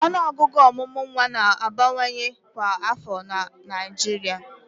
Ọnụọgụ ọmụmụ nwa na-abawanye kwa afọ na Naịjirịa